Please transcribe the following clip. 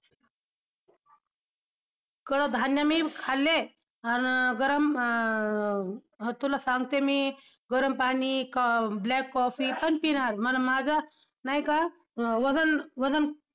कडधान्य मी खाल्ले, आन गरम अं तुला सांगते मी गरम पाणी black coffee पण पिणार मला माझं नाही का वजन वजन,